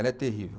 Ela é terrível.